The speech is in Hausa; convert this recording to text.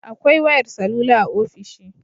Akwai wayar salula a ofishi